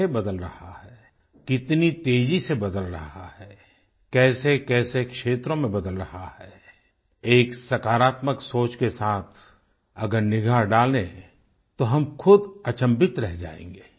कैसे बदल रहा है कितनी तेज़ी से बदल रहा है कैसेकैसे क्षेत्रों में बदल रहा है एक सकारात्मक सोच के साथ अगर निगाह डालें तो हम खुद अचंभित रह जायेंगे